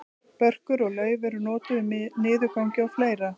börkur og lauf eru notuð við niðurgangi og fleira